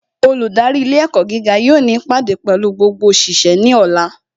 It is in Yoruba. Olùdarí ilé ẹ̀kọ́ gíga yóò ní ìpàdé pẹ̀lú gbogbo òṣìṣẹ́ ní ọ̀la